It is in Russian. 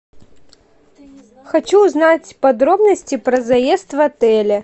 хочу узнать подробности про заезд в отеле